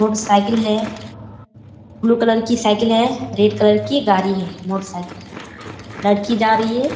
Motor cycle है blue colour की cycle है रेड कलर कि गाड़ी है मोटर साइकिल लड़की जा रही है ।